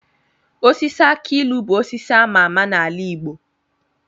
Osisi aki ilu bụ osisi ama ama n'ala igbo